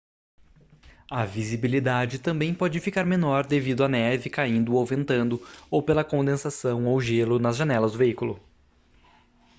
a visibilidade também pode ficar menor devido à neve caindo ou ventando ou pela condensação ou gelo nas janelas do veículo